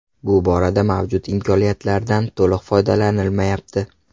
Bu borada mavjud imkoniyatlardan to‘liq foydalanilmayapti.